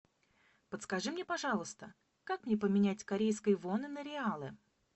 подскажи мне пожалуйста как мне поменять корейские воны на реалы